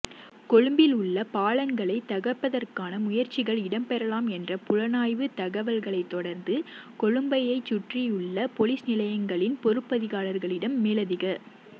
கொழும்பில் உள்ள பாலங்களை தகர்ப்பதற்கான முயற்சிகள் இடம்பெறலாம் என்ற புலனாய்வு தகவல்களை தொடர்ந்து கொழும்பை சுற்றியுள்ள பொலிஸ்நிலையங்களின் பொறுப்பதிகாரிகளிடம் மேலதிக